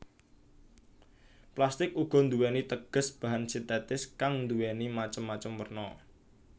Plastik uga nduwéni teges bahan sintetis kang nduwéni macem macem werna